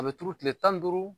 A bɛ turu kilen tan ni duuru.